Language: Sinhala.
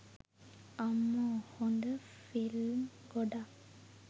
අම්මෝ හොද ෆිල්ම් ගොඩක්